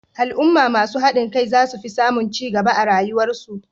Al'umma masu hadin kai zasu fi samun cigaba a rayuwar su